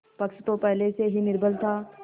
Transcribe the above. पक्ष तो पहले से ही निर्बल था